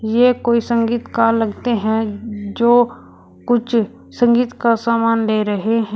ये कोई संगीतकार लगते हैं जो कुछ संगीत का सामान ले रहे हैं।